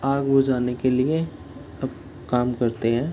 आग बुझाने के लिए अब काम करते हैं।